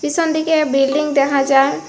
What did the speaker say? পিছন দিকে বিল্ডিং দেখা যার।